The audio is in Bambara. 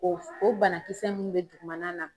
O o banakisɛ munnu ti dugumana na